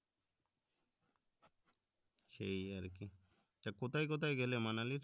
সেই আরকি তো কোথায় কোথায় গেলে মানালি এর